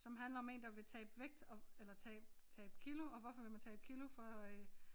Som handler om én der vil tabe vægt og eller tabe tabe kilo og hvorfor vil man tabe kilo for øh